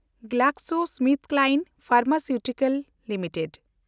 GlaxoSmithKline Pharmaceutical limited